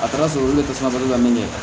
A kɛra sɔrɔ dɛsɛ fana bɛ min kɛ